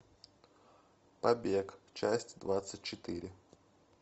побег часть двадцать четыре